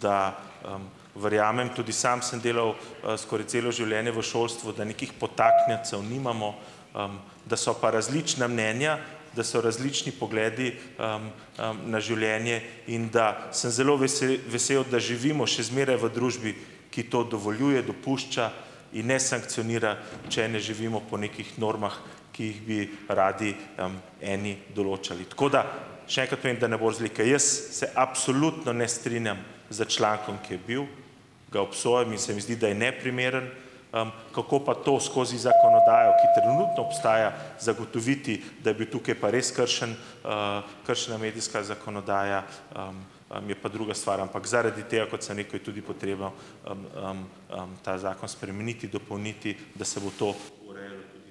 Da, verjamem, tudi sam sem delal skoraj celo življenje v šolstvu, da nekih podtaknjencev nimamo, da so pa različna mnenja, da so različni pogledi na življenje in da, sem zelo vesel vesel, da živimo še zmeraj v družbi, ki to dovoljuje, dopušča in ne sankcionira, če ne živimo po nekih normah, ki jih bi radi eni določali. Tako da še enkrat povem, da ne bo razlike. Jaz se absolutno ne strinjam s člankom, ki je bil, ga obsojam in se mi zdi, da je neprimeren. Kako pa to skozi zakonodajo ..., ki trenutno obstaja, zagotoviti, da je bil tukaj pa res kršen kršena medijska zakonodaja, je pa druga stvar, ampak zaradi tega, kot sem rekel, je tudi potrebno ta zakon spremeniti, dopolniti, da se bo to urejalo.